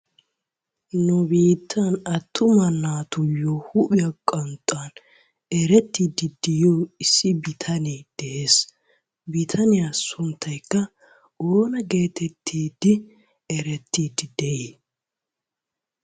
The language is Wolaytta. Nu biittan attuma naattuyo huphphiya qanxxuwan erettiydi de'iya issi bitanee de'ees. Bitaniya sunttaykka oona geetettidi erettidi de'ii?